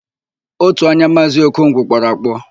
Ótù anya Maazị Okongwu kpọrọ akpọ.